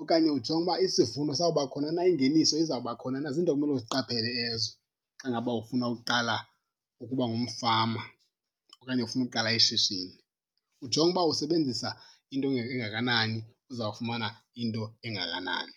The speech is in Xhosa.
okanye ujonge uba isivuno sawuba khona na ingeniso izawuba khona na. Ziinto ekumele uziqaphele ezo xa ngaba ufuna ukuqala ukuba ngumfama okanye ufuna uqala ishishini. Ujonge uba usebenzisa into engakanani, uzawufumana into engakanani.